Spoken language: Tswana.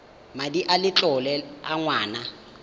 madi a letlole a ngwana